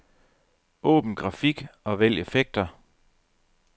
Åbn grafik og vælg effekter.